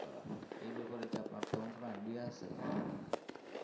করা এই ব্যাপারে কি আপনার তেমন কোন idya আছে